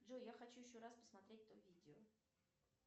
джой я хочу еще раз посмотреть то видео